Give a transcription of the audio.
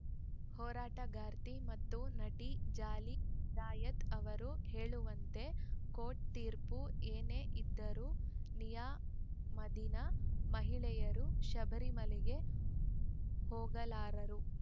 ಹೋರಾಟಗಾರ್ತಿ ಮತ್ತು ನಟಿ ಜಾಲಿ ಚಿರಾಯತ್‌ ಅವರು ಹೇಳುವಂತೆ ಕೋರ್ಟ್‌ ತೀರ್ಪು ಏನೇ ಇದ್ದರೂ ನಿಯಮಾಧೀನ ಮಹಿಳೆಯರು ಶಬರಿಮಲೆಗೆ ಹೋಗಲಾರರು